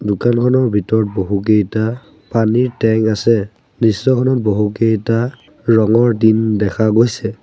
দোকানখনৰ ভিতৰত বহুকেইটা পানীৰ টেংক আছে দৃশ্যখনৰ বহুকেইটা ৰঙৰ টিন দেখা গৈছে।